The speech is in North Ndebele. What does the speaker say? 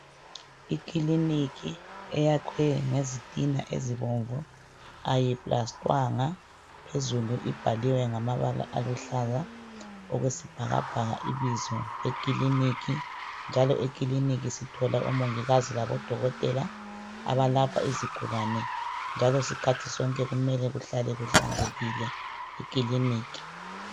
Ikiliniki eyakhwe ngezitina ezibomvu ayiplastwanga phezulu ibhaliwe ngamabala aluhlaza okwesibhakabhaka ibizo lekiliniki njalo ekiliniki sithola omongikazi labo dokotela abelapha izigulane njalo sikhathi sonke kumele kuhlale kuhlanzekile ekiliniki